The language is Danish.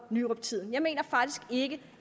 nyruptiden jeg mener faktisk ikke